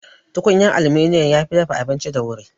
Tukunyan aluminum yafi dafa abinci da wuri